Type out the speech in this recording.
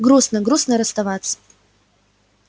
грустно грустно расставаться